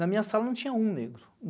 Na minha sala não tinha um negro.